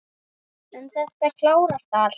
En þetta klárast allt.